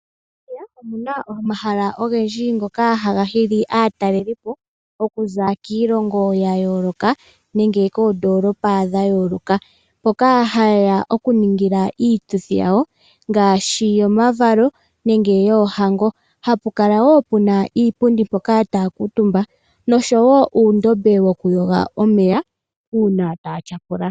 Opuna omahala ogendji ngoka haga hili aatalelipo okuza kiilongo ya yooloka nenge koondoolopa dha yooloka, mpoka haye ya okuningila iituthi yawo ngaashi yomavalo nenge yoohango. Ohapu kala wo puna iipundi mpoka taya kuutumba nosho wo uundombe wokuyoga omeya uuna taya tyapula.